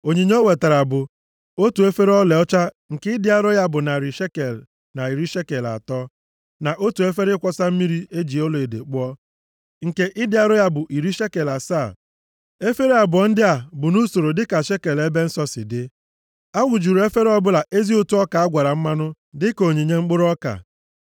Onyinye o wetara bụ: otu efere ọlaọcha nke ịdị arọ ya bụ narị shekel na iri shekel atọ, na otu efere ịkwọsa mmiri e ji ọlaedo kpụọ, nke ịdị arọ ya bụ iri shekel asaa, efere abụọ ndị a bụ nʼusoro dịka shekel ebe nsọ si dị. A wụjuru efere ọbụla ezi ụtụ ọka a gwara mmanụ dịka onyinye mkpụrụ ọka.